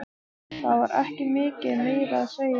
Það var ekki mikið meira að segja.